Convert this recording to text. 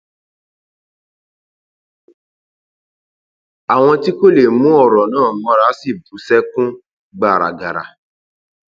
àwọn tí kò lè mú ọrọ náà mọra sì bú sẹkún gbàràgàrà